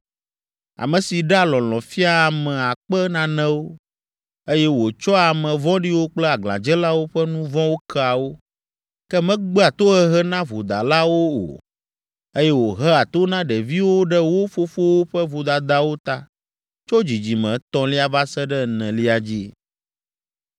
ame si ɖea lɔlɔ̃ fiaa ame akpe nanewo, eye wòtsɔa ame vɔ̃ɖiwo kple aglãdzelawo ƒe nu vɔ̃wo kea wo, ke megbea tohehe na vodalawo o, eye wòhea to na ɖeviwo ɖe wo fofowo ƒe vodadawo ta tso dzidzime etɔ̃lia va se ɖe enelia dzi.”